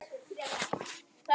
Og hún er okkar.